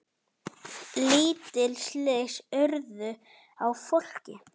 Lítil slys urðu á fólki.